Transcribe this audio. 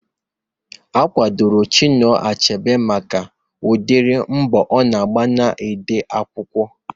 Akwadoro Chinua Achebe maka udiri mbọ ọ na-agba n'ide akwụkwọ